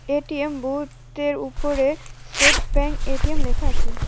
ATM বুথটির উপরে State Bank ATM লেখা আছে।